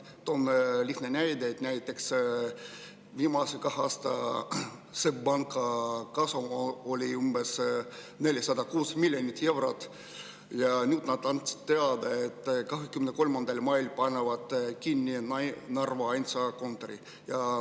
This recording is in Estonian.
Toome lihtsa näite: SEB Panga viimase kahe aasta kasum oli umbes 406 miljonit eurot, aga nüüd nad andsid teada, et 23. mail panevad kinni Narva ainsa kontori.